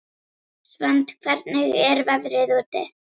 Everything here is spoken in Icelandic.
Svend, hvernig er veðrið úti?